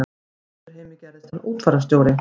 Í Vesturheimi gerðist hann útfararstjóri.